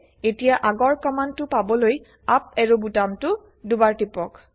এতিয়া আগৰ কমান্ড টো পাবলৈ আপ এৰো বুটামটো দুবাৰ টিপক